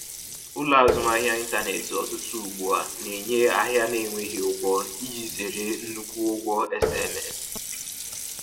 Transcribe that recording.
Ụlọ azụmahịa ịntanetị ọtụtụ ugbu a na-enye ahịa na-enweghị ụgwọ iji zere nnukwu ụgwọ SMS